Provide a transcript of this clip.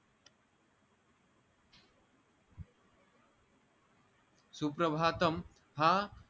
सुप्रभातम हा